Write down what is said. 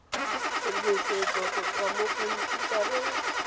tshedimosetso go tswa mo khomphutareng